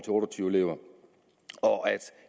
tyve elever og at